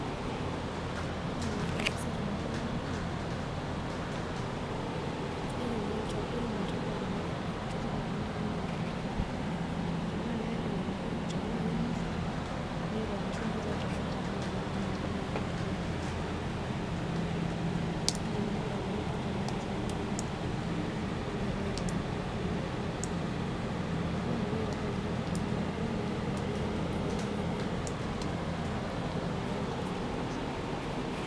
Yiolo ore enasiai temurua aang naa irem olchamba lino enchoto pookin niyieu niun tanaaketa nabo tanaa kinotoashu imbotu oltarakita amu ninye orem aitobiraki, tenimiata topiyani naitosha nimpotu ltunganak oyiolo aterem amu ,ore indipa airemo olchamba lino niyiolou ajo kanyio iun, tanaa mpuka, tanaa irpae, tanaa mpoosho.